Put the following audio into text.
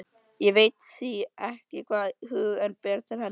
Hann veit því ekki hvaða hug hún ber til hennar.